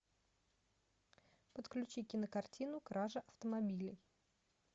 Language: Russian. подключи кинокартину кража автомобилей